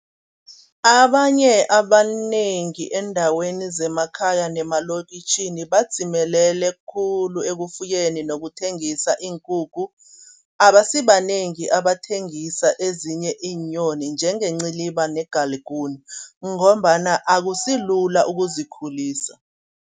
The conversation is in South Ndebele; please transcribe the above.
Abanye abanengi eendaweni zemakhaya nemalokitjhini badzimelele khulu ekufuyeni nokuthengisa iinkukhu. Abasibanengi abathengisa ezinye iinyoni njenge iinciliba negaliguni ngombana akusilula ukuzikhulisa.